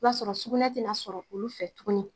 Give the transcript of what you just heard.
O b'a sɔrɔ sugunɛ tɛ na sɔrɔ olu fɛ tuguni